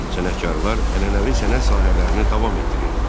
Sənətkarlar ənənəvi sənət sahələrini davam etdirirdilər.